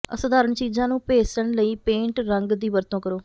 ਅਸਾਧਾਰਣ ਚੀਜ਼ਾਂ ਨੂੰ ਭੇਸਣ ਲਈ ਪੇਂਟ ਰੰਗ ਦੀ ਵਰਤੋਂ ਕਰੋ